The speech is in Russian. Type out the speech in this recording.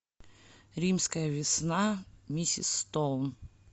римская весна миссис стоун